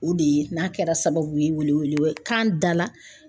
O de ye n'a kɛra sababu ye wele wele kan da la.